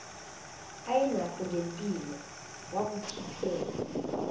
ayenakho ngempilo wakukhiphela